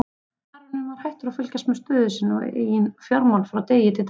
Baróninn var hættur að fylgjast með stöðu sinna eigin fjármála frá degi til dags.